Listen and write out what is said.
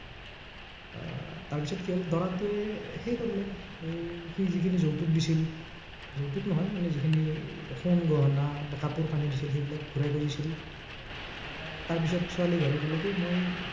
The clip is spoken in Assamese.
আহ তাৰপিছত কি হল, দৰাটোৱেই হেৰি কৰিলে, এৰ সি যিখিনি যৌতুক দিছিল। যৌতুক নহয় মানে যিখিনি এৰ সোণ গহনা বা কাপোৰ-কানি দিছিল সেইবিলাক ঘূৰাই খুজিছিল। আহ তাৰ পিছত ছোৱালী ঘৰে কলে কি মই